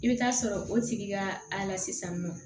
I bɛ taa sɔrɔ o tigi ka a la sisan nɔ